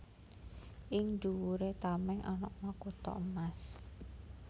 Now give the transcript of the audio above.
Ing dhuwuré tamèng ana makutha emas